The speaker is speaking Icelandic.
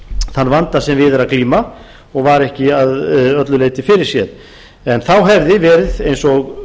þann vanda sem við er að glíma og var ekki að öllu leyti fyrirséður en þá hefði verið eins og